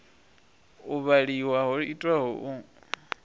u vhaliwa ho itwaho u